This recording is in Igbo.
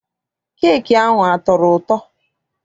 Keeki ahụ a tọrọ ụtọ?